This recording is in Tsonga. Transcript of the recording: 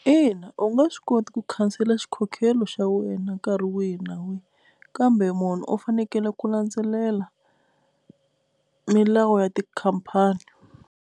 Ina, u nga swi koti ku khansela xikhokhelo xa wena nkarhi wihi na wihi kambe munhu u fanekele ku landzelela milawu ya tikhampani.